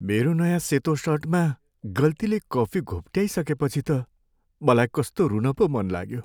मेरो नयाँ सेतो सर्टमा गल्तीले कफी घोप्ट्याइसकेपछि त मलाई कस्तो रून पो मन लाग्यो।